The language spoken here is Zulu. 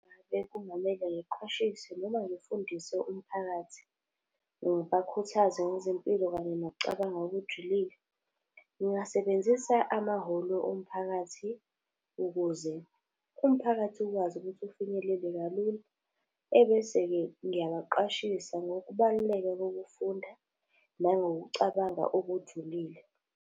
Bekungamele ngiqwashise noma ngifundise umphakathi, ngibakhuthaze ngezempilo kanye nokucabanga okujulile. Ngingasebenzisa amahholo omphakathi, ukuze umphakathi ukwazi ukuthi ufinyelele kalula. Ebese-ke ngiyabaqwashisa ngokubaluleka kokufunda, nangokucabanga okujulile.